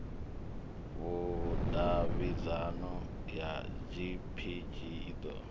vhudavhidzano ya gpg i ḓo